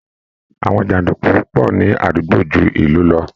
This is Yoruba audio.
Àwọn jàǹdùkú pọ̀ ní àdúgbò ju ìlú lọ